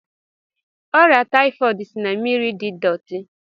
Ọrịa taifọd si na mmiri dị dọti.